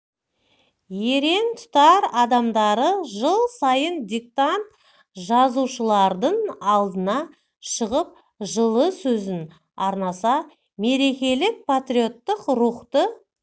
ерен тұтар адамдары жыл сайын диктант жазушылардың алдына шығып жылы сөзін арнаса мерекелік патриоттық рухты